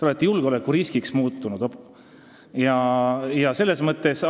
Te olete muutunud julgeolekuriskiks.